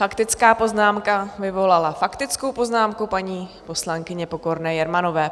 Faktická poznámka vyvolala faktickou poznámku paní poslankyně Pokorné Jermanové.